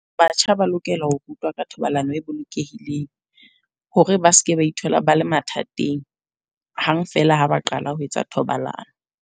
Batjha ba lokela ho rutwa ka thobalano e bolokehileng. Hore ba seke ba ithola ba le mathateng hang feela ha ba qala ho etsa thobalano.